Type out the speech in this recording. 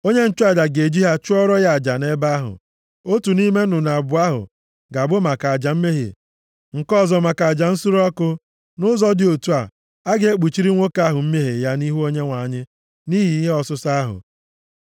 Onye nchụaja ga-eji ha chụọrọ ya aja nʼebe ahụ. Otu nʼime nnụnụ abụọ ahụ ga-abụ maka aja mmehie, nke ọzọ maka aja nsure ọkụ. Nʼụzọ dị otu a, ọ ga-ekpuchiri nwoke ahụ mmehie ya nʼihu Onyenwe anyị nʼihi ihe ọsụsọ ahụ.